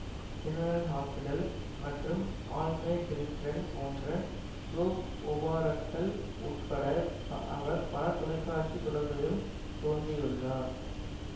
general Hospital மற்றும் All My Children போன்ற soap ஒபாராக்கள் உட்பட அவர் பல தொலை காட்சி தொடர்களிலும் தோன்றியுள்ளார்